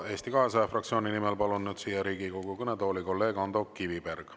Eesti 200 fraktsiooni nimel kõnelema palun nüüd siia Riigikogu kõnetooli kolleeg Ando Kivibergi.